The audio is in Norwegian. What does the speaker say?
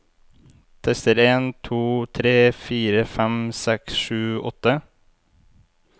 Tester en to tre fire fem seks sju åtte